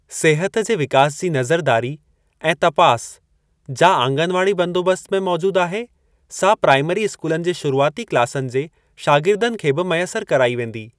सिहत जे विकास जी नज़रदारी ऐं तपास, जा आंगनवाड़ी बंदोबस्त में मौजूद आहे, सा प्राईमरी स्कूलनि जे शुरूआती क्लासनि जे शागिर्दनि खे बि मयसर कराई वेंदी।